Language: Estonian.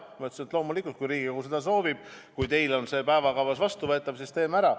Ta ütles, et loomulikult, kui Riigikogu seda soovib ja kui teil on see päevakavas vastuvõetav, siis teeme ära.